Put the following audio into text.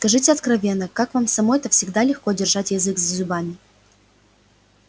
скажите откровенно вам-то самой всегда ли легко держать язык за зубами